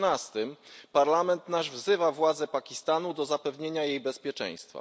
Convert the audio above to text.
13 Parlament nasz wzywa władze Pakistanu do zapewnienia jej bezpieczeństwa.